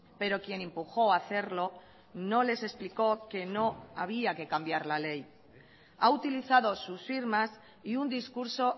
pero quien empujó hacerlo no les explicó que no había que cambiar la ley ha utilizado sus firmas y un discurso